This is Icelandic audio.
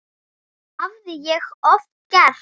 Það hafði ég oft gert.